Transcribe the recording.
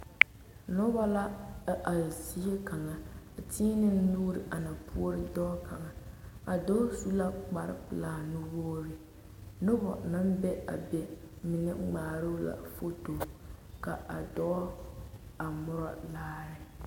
Nobɔ la a are zie kaŋa a teɛnɛ nuure a na puore dɔɔ kaŋ a dɔɔ su la kparepelaa nuwogre nobɔ naŋ be a be mine ngmaaroo la foto ka a dɔɔ a murɔ laare.